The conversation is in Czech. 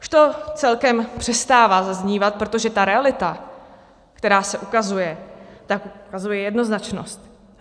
Už to celkem přestává zaznívat, protože ta realita, která se ukazuje, tak ukazuje jednoznačnost.